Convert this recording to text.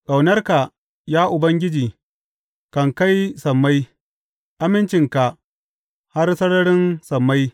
Ƙaunarka, ya Ubangiji, kan kai sammai, amincinka har sararin sammai.